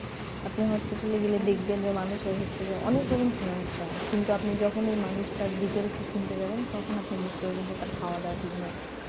আপনি hospital এ গেলে দেখবেন যে মানুষ এর হচ্ছে যে অনেক রকম সমস্যা কিন্তু আপনি যখন ওই মানুষটার details ই শুনতে যাবেন তখন আপনি বুঝতে পারবেন যে তার খাওয়া দাওয়া ঠিক নেই